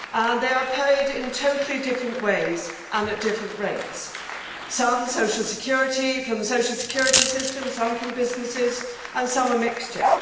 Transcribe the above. They are paid in totally different ways and at different rates some from the social security systems, some from businesses and some are a mixture.